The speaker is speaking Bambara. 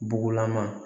Bugulama